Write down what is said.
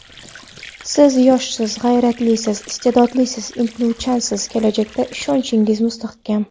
Siz yoshsiz, g‘ayratlisiz, iste’dodlisiz, intiluvchansiz, kelajakka ishonchingiz mustahkam.